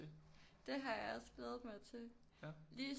Det har jeg også glædet mig til lige